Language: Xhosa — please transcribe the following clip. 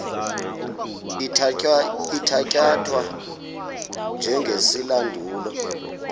ithatya thwa njengesilandulo